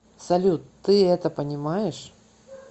салют ты это понимаешь